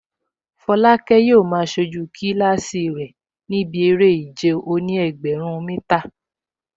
Folake yóò máa sojú kílásì rẹ̀ níbi eré ìje òní-ẹgbẹ̀rún mítà